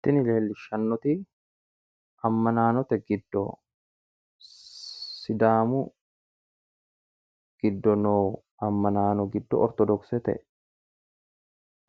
Tini leellishshannoti ammanaanote giddo sidaamu giddo noo ammanaano giddo ortodoksete